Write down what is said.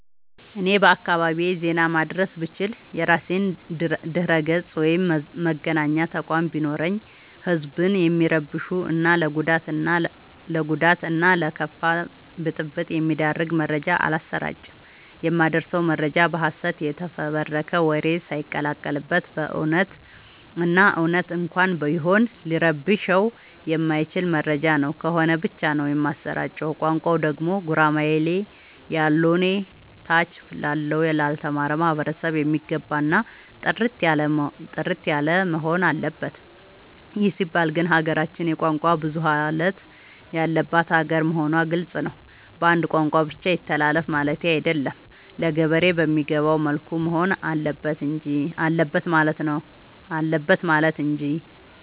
እኔ በአካባቢዬ ዜና ማድረስ ብችል። የራሴ ድረገፅ ወይም መገናኛ ተቋም ቢኖረኝ ህዝብን የሚረብሹ እና ለጉዳት እና ለከፋ ብጥብ የሚዳርግ መረጃ አላሰራጭም። የማደርሰው መረጃ በሀሰት የተፈበረከ ወሬ ሳይቀላቀል በት እውነቱን እና እውነት እንኳን ቢሆን ሊረብሸው የማይችል መረጃ ነው ከሆነ ብቻ ነው የማሰራጨው። ቋንቋው ደግሞ ጉራማይሌ ያሎነ ታች ላለው ላልተማረው ማህበረሰብ የሚገባ እና ጥርት ያለወሆን አለበት ይህ ሲባል ግን ሀገራችን የቋንቋ ብዙሀለት ያለባት ሀገር መሆኗ ግልፅ ነው። በአንድ ቋንቋ ብቻ ይተላለፍ ማለቴ አይደለም ለገበሬ በሚገባው መልኩ መሆን አለበት ማለት እንጂ።